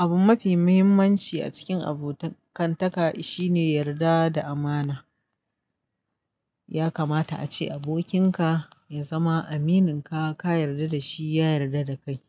Abun mafi muhimmanci a cikin abokantaka shine yarda da amana. Ya kamata ace abokinka ya zama amininka, ka yarda da shi, ya yarda da kai.